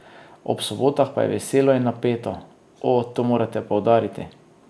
Ob sobotah pa je veselo in napeto: 'O, to morate poudariti!